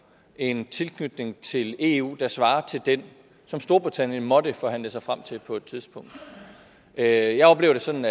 en tilknytning til eu der svarer til den som storbritannien måtte forhandle sig frem til på et tidspunkt jeg jeg oplever det sådan